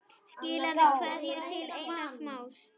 Skilaðu kveðju til Einars Más.